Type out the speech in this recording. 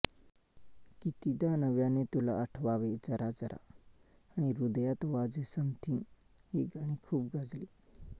कितीदा नव्याने तुला आठवावे जरा जरा आणि ह्रदयात वाजे समथिंग ही गाणी खूप गाजली